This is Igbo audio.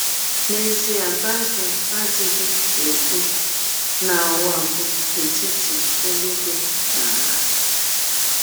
N’ezie, Bible adịghị ekwụ na ụwa bụ etiti elụigwe na ala.